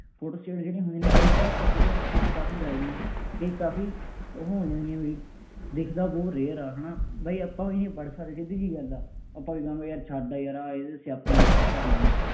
Photo state ਜਿਹੜੀਆਂ ਹੁੰਦੀਆਂ ਨੇ, ਕਈ ਤਾਂ ਆਪਾਂ ਕੀ ਕਹਿੰਦੇ ਆ ਬਈ ਕਾਫੀ bright ਨੇ, ਕਈ ਕਾਫੀ ਉਹ ਆਉਂਦੀਆਂ ਹੁੰਦੀਆਂ ਬਈ, ਦਿੱਖਦਾ ਬਹੁਤ rear ਆ, ਹੈ ਨਾ, ਬਈ ਆਪਾਂ ਊਈਂ ਨਹੀਂ ਪੜ੍ਹ ਸਕਦੇ, ਸਿੱਧੀ ਜਿਹੀ ਗੱਲ ਹੈ। ਆਪਾਂ ਵੀ ਕਹਾਂਗੇ ਯਾਰ ਛੱਡ ਯਾਰ ਆਹ ਇਹਦੇ ਸਿਆਪੇ ਨੂੰ ਆਪਾਂ ਕਰਨਾ ਹੀ ਨਹੀਂ।